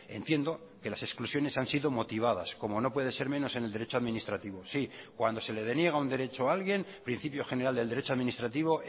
entiendo que las exclusiones han sido motivadas como no puede ser menos en el derecho administrativo sí cuando se le deniega un derecho a alguien principio general del derecho administrativo